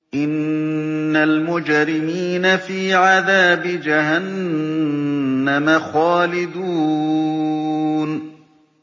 إِنَّ الْمُجْرِمِينَ فِي عَذَابِ جَهَنَّمَ خَالِدُونَ